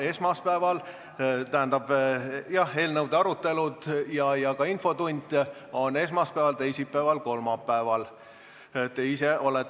Esmaspäeval, teisipäeval ja kolmapäeval on eelnõud ning kolmapäeval on ka infotund.